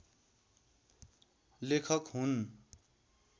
लेखक हुन्